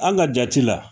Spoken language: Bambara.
An ka jate la